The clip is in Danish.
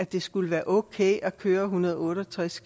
det skulle være okay at køre en hundrede og otte og tres